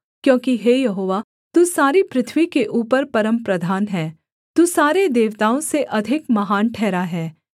क्योंकि हे यहोवा तू सारी पृथ्वी के ऊपर परमप्रधान है तू सारे देवताओं से अधिक महान ठहरा है